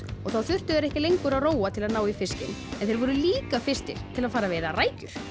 og þá þurftu þeir ekki lengur að róa til að ná í fiskinn þeir voru líka fyrstir til að fara að veiða rækjur